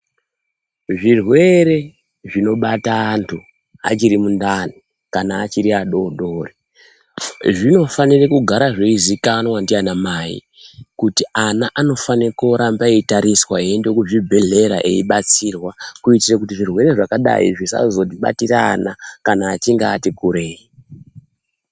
Zvirwere zvinobata antu achiri mundani kana achiri adodori zvinofanire kugara zveizikanwa ndiana mai kuti ana anofane kuramba eyitariswa eyi ende ku zvibhedhleya eyi batsirwa kuitire kuti zvirwere zvakadai zvisazo batira ana kana achinge ati kurei.